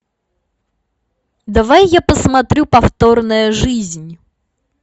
давай я посмотрю повторная жизнь